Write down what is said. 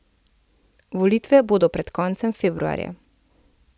Volitve bodo pred koncem februarja.